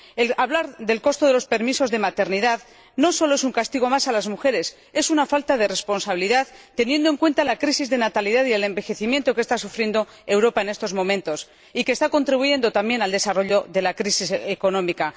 El hablar del coste de los permisos de maternidad no solo es un castigo más a las mujeres, es una falta de responsabilidad, teniendo en cuenta la crisis de natalidad y el envejecimiento que está sufriendo Europa en estos momentos, y que está contribuyendo también al desarrollo de la crisis económica.